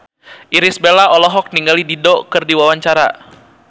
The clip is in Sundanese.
Irish Bella olohok ningali Dido keur diwawancara